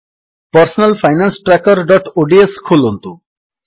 personal finance trackerଓଡିଏସ ଖୋଲନ୍ତୁ